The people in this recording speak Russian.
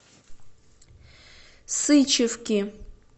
сычевки